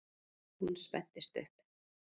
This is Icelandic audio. Hún spennist upp.